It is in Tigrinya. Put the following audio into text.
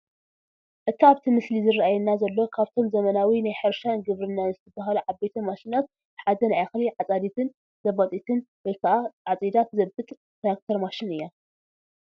እቲ ኣብቲ ምስሊ ዝራኣየና ዘሎ ካብቶም ዘበናዊ ናይ ሕርሻን ግብርናን ዝባሃሉ ዓበይቲ ማሽናት ሓደ ናይ እኽሊ ኣፃዲትን ዘባጢትን ወይ ከዓ ዓፂዳ ትዘብጥ ትራክተር ማሽን እያ፡፡